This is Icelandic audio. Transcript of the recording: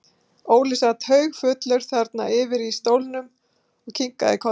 Óli sat haugfullur þarna yfir í stólnum og kinkaði kolli.